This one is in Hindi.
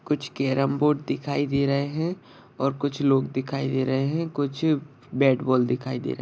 कुछ केरम बोर्ड दिखाई दे रहे है और कुछ लोग दिखाई दे रहे है कुछ बॅट बॉल दिखाई दे रहे--